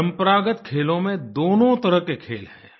परंपरागत खेलों में दोनों तरह के खेल हैं